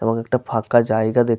এবং একটা ফাঁকা জায়গা দেখ --